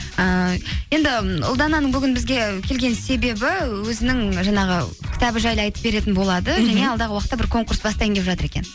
ыыы енді ұлдананың бүгін бізге келген себебі өзінің жаңағы кітабы жайлы айтып беретін болады алдағы уақытта бір конкурс бастайын деп жатыр екен